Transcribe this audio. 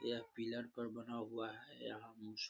यह पिलर पर बना हुआ है। यहाँ नीचे --